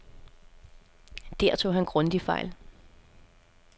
Der tog han grundigt fejl.